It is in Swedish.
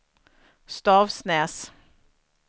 Stavsnäs